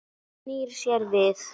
Snýr sér við.